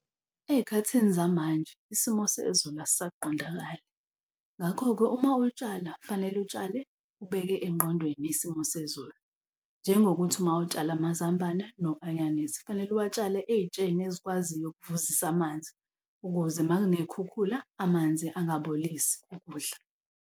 Ey'khathini zamanje isimo sezulu asisaqondakali. Ngakho-ke, uma utshala fanele, utshale ubeke engqondweni isimo sezulu, njengokuthi uma utshala amazambane no anyanisi kufanele uwatshale ey'tsheni ezikwaziyo ukuvuzisa amanzi ukuze uma kuney'khukhula amanzi angabolisi ukudla.